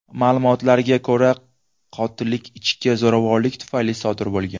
Ma’lumotlarga ko‘ra, qotillik ichki zo‘ravonlik tufayli sodir bo‘lgan.